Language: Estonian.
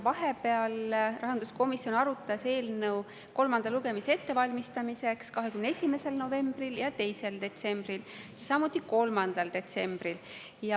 Vahepeal arutas rahanduskomisjon eelnõu selle kolmandat lugemist ette valmistades 21. novembril ja 2. detsembril, samuti 3. detsembril.